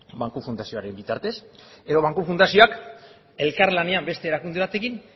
banku fundazioaren bitartez edo banku fundazioak elkar lanean beste erakunde batekin